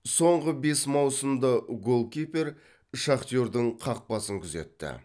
соңғы бес маусымда голкипер шахтердің қақпасын күзетті